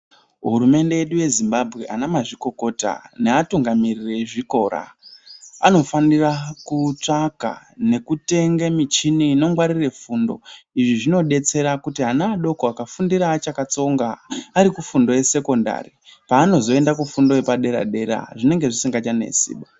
HUrumende yedu yeZimbabwe anamazvikokota neatungamiriri ezvikora anofanire kutsvange michina inongwarire fundo izvi zvinobatsire kuti ana adoko anenge achakatsonga àrikusekondari panozoenda kufundoyepadera dera zvinenge zvisingachanesi ba.